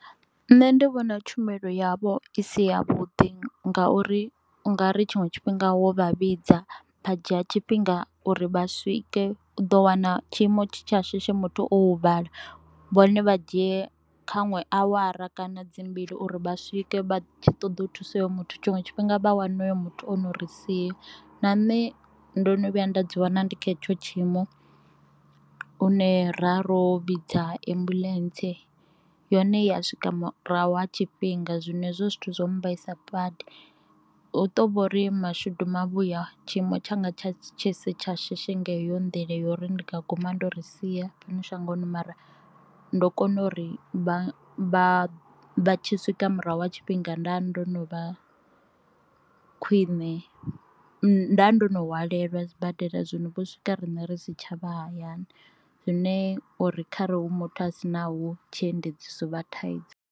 Nṋe ndi vhona tshumelo yavho i si ya vhuḓi ngauri u nga ri tshiṅwe tshifhinga wo vha vhidza vha dzhia tshifhinga uri vha swike, u ḓo wana tshiimo tshi tsha shishi muthu o huvhala vhone vha dzhie kha nwe awara kana dzi mbili uri vha swike vha tshi ṱoḓa u thusa hoyo muthu tshiṅwe tshifhinga vha wane hoyo muthu ono ri sia. Na nṋe ndo no vhuya nda ḓi wana ndi kha hetsho tshiimo une ra ro vhidza ambuḽentse yone ya swika murahu ha tshifhinga zwino hezwo zwithu zwa mbaisa badi u to vhori mashudu mavhuya tshiimo tshanga tsha tshi si tsha shishi nga heyo nḓila uri ndi nga guma ndo ri sia shangoni mara ndo kona uri vha vha tshi swika murahu ha tshifhinga nda ndo no vha khwine, nda ndo no hwalelwa sibadela zwino vho swika rine ri si tshavha hayani zwine uri kharali hu muthu a si na hu tshiendedzi hovha hu tshi dovha thaidzo.